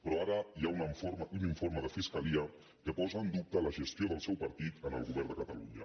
però ara hi ha un informe de fiscalia que posa en dub·te la gestió del seu partit en el govern de catalunya